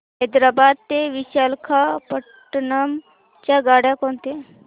हैदराबाद ते विशाखापट्ण्णम च्या गाड्या कोणत्या